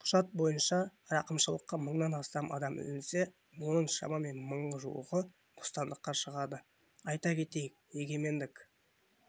құжат бойынша рақымшылыққа мыңнан астам адам ілінсе оның шамамен мың жуығы бостандыққа шығады айта кетейік егемендік